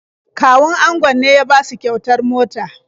Kawun angon ne ya basu kyautar mota.